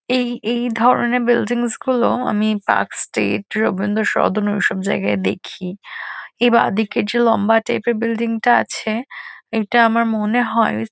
এই এই ধরণের বিল্ডিংস -গুলো আমি পার্ক স্ট্রিট রবীন্দ্র সদন ওইসব জায়গায় দেখি। এ বাঁদিকে যে লম্বা টাইপ -এর বিল্ডিং -টা আছে এটা আমার মনে হয় --